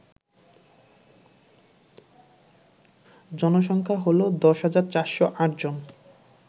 জনসংখ্যা হল ১০৪০৮ জন